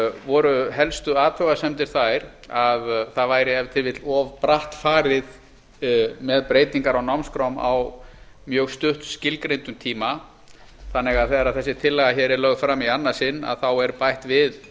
voru helstu athugasemdir þær að það væri ef til vill of bratt farið með breytingar á námskrám á mjög stutt skilgreinum tíma þannig að þegar þessi tillaga hér er lögð fram í annað sinn er bætt við